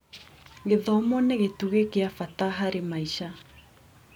Gĩthomo nĩ gĩtugĩ gĩa bata harĩ maica.